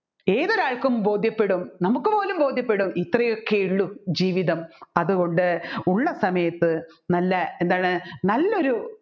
ഏതൊരാൾക്കും ബോധ്യപ്പെടും നമ്മുക്ക് പോലും ബോധ്യപ്പെടും ഇത്രയൊക്കെ ഉള്ളു ജീവിതം അതുകൊണ്ട് ഉള്ള സമയത്ത് നല്ല എന്താണ് നല്ലൊരു